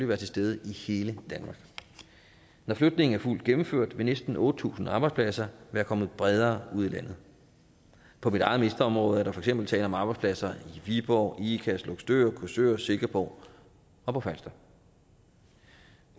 være til stede i hele danmark når flytningen er fuldt gennemført vil næsten otte tusind arbejdspladser være kommet bredere ud i landet på mit eget ministerområde er der for eksempel tale om arbejdspladser i viborg ikast løgstør korsør og silkeborg og på falster